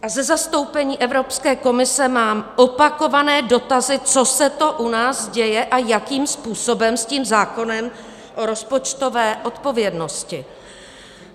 A ze zastoupení Evropské komise mám opakované dotazy, co se to u nás děje a jakým způsobem s tím zákonem o rozpočtové odpovědnosti.